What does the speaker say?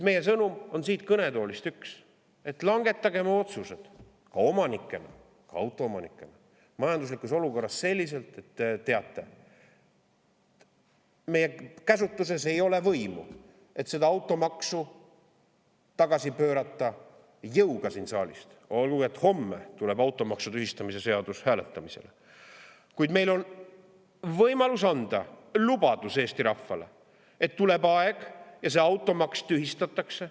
Meie sõnum siit kõnetoolist on üks: langetagem otsused omanikena, ka autoomanikena, majanduslikus olukorras selliselt, et te teate: kuigi siin saalis ei ole meie käsutuses võimu automaksu jõuga tagasi pöörata – olgugi et homme tuleb automaksu tühistamise seadus hääletamisele –, on meil võimalus anda Eesti rahvale lubadus, et tuleb aeg ja see automaks tühistatakse.